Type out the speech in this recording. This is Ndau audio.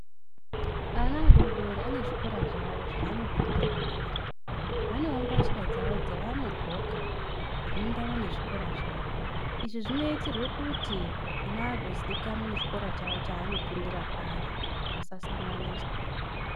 Ana adododori ane zvikora zvavo zvavanopindira ari Vanewo mbatya dzavo dzavanodxoka, dzinoenderana nezvikora zvavo. Izvi zvonoitirwe kuti ana agoziikanwa nechikora chavo, chaanopindira ari, vasasanganiswa.